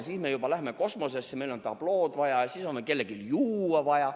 Siis me juba läheme kosmosesse, meil on tablood vaja ja siis on meil kellelgi juua vaja.